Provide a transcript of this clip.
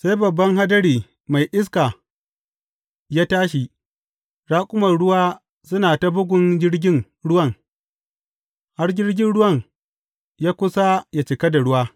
Sai babban hadari mai iska ya tashi, raƙuman ruwa suna ta bugun jirgin ruwan, har jirgin ruwan ya kusa yă cika da ruwa.